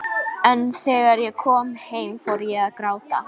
En þegar ég kom heim fór ég að gráta.